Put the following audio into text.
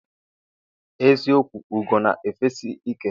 eziokwu ugo na efesi ike.